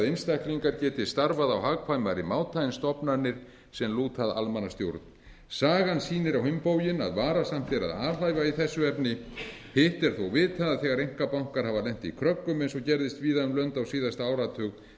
einstaklingar geti starfað á hagkvæmari máta en stofnanir sem lúta almannastjórn sagan sýnir á hinn bóginn að varasamt er að alhæfa í þessu efni hitt er þó vitað að þegar einkabankar hafa lent í kröggum eins og gerðist víða um lönd á síðasta áratug til